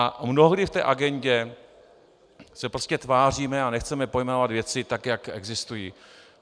A mnohdy v té agendě se prostě tváříme a nechceme pojmenovat věci tak, jak existují.